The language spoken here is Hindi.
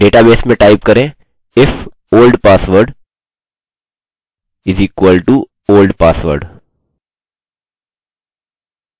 डेटाबेस में टाइप करें if the old password is equal to the old password